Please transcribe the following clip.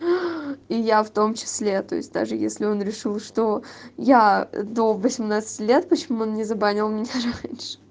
и я в том числе то есть даже если он решил что я до восемнадцати лет почему он не забанил меня раньше